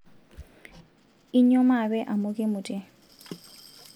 inyio maape amu kimutie